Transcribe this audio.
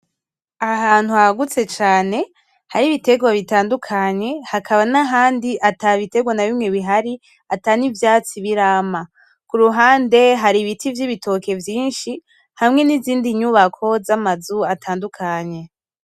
Aha hantu hagutse cane hari ibiterwa bitandukanye hakaba n’ahandi ata biterwa na bimwe bihari ata n’ivyatsi birama kuruhande hari ibiti vy'ibitoki vyishi hamwe n’izindi nyubako z’amazu atandukanye.